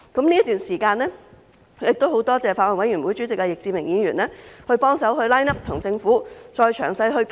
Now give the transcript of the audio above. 這段時間十分感謝法案委員會主席易志明議員幫忙 line up， 跟政府再詳細討論。